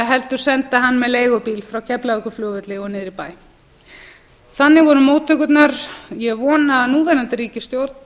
heldur senda hann með leigubíl frá keflavíkurflugvelli og niður í bæ þannig voru móttökurnar ég vona að núverandi ríkisstjórn